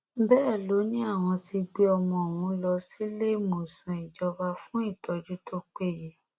bẹẹ ló ní àwọn ti gbé ọmọ ọhún lọ síléemọsán ìjọba fún ìtọjú tó péye